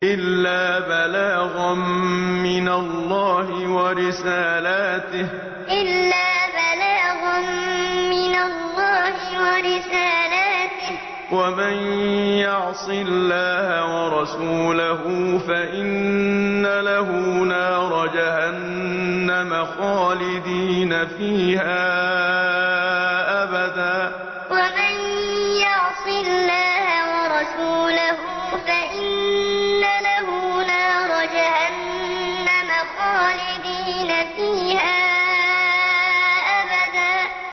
إِلَّا بَلَاغًا مِّنَ اللَّهِ وَرِسَالَاتِهِ ۚ وَمَن يَعْصِ اللَّهَ وَرَسُولَهُ فَإِنَّ لَهُ نَارَ جَهَنَّمَ خَالِدِينَ فِيهَا أَبَدًا إِلَّا بَلَاغًا مِّنَ اللَّهِ وَرِسَالَاتِهِ ۚ وَمَن يَعْصِ اللَّهَ وَرَسُولَهُ فَإِنَّ لَهُ نَارَ جَهَنَّمَ خَالِدِينَ فِيهَا أَبَدًا